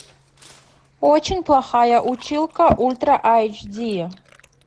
очень плохая училка ультра аш ди